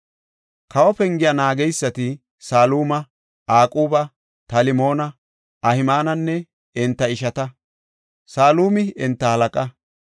Kawo pengiya naageysati, Saluma, Aquba, Talmoona, Ahimaananne enta ishata; salumi enta halaqa.